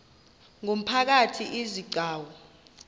ngumphakathi izi gcawu